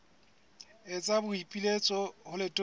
etsa boipiletso ho letona la